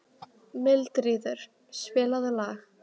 Mildríður, spilaðu lag.